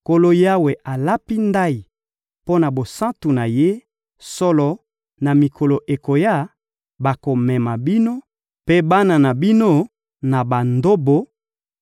Nkolo Yawe alapi ndayi mpo na bosantu na Ye: «Solo, na mikolo ekoya, bakomema bino mpe bana na bino na bandobo;